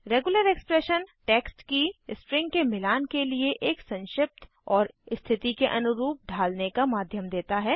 regular expression text की string के मिलान के लिए एक संक्षिप्त और स्थिति के अनुरूप ढालने का माध्यम देता है